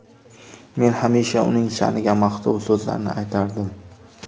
Men hamisha uning sha’niga maqtov so‘zlarni aytardim.